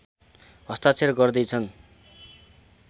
हस्ताक्षर गर्दै छन्